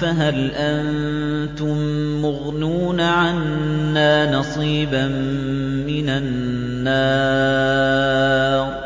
فَهَلْ أَنتُم مُّغْنُونَ عَنَّا نَصِيبًا مِّنَ النَّارِ